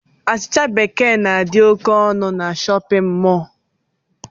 Achịcha bekee na-adi ókè ọnụ n'shóppin mol.